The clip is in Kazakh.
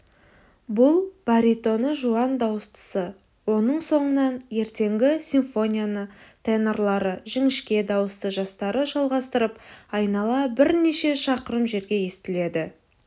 бұл баритоны жуан дауыстысы оның соңынан ертеңгі симфонияны тенорлары жіңішке дауысты жастары жалғастырып айнала бірнеше шақырым жерге естіледі